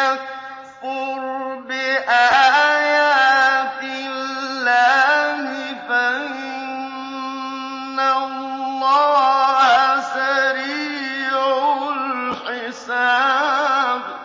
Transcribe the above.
يَكْفُرْ بِآيَاتِ اللَّهِ فَإِنَّ اللَّهَ سَرِيعُ الْحِسَابِ